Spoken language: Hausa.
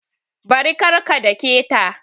Bari! kar ka dake ta